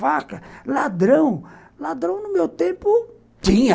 Faca, ladrão, ladrão no meu tempo tinha.